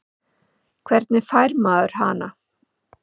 Hvernig fær maður hana?